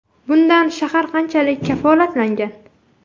Bundan shahar qanchalik kafolatlangan?